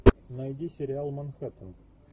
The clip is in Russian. найди сериал манхэттен